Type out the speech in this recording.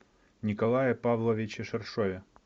николае павловиче ширшове